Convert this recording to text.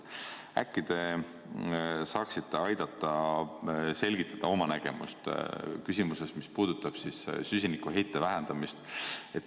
Äkki te saaksite aidata selgitada oma nägemust küsimuses, mis puudutab süsinikuheite vähendamist.